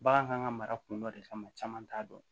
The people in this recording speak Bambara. Bagan kan ka mara kun dɔ de kama caman t'a dɔn